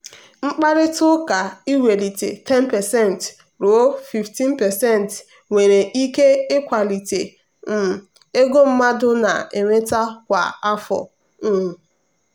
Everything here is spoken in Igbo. mkparịta ụka iwelite 10% ruo 15% nwere ike ịkwalite um ego mmadụ na-enweta kwa afọ. um